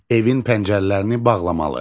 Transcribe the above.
Evin pəncərələrini bağlamalı.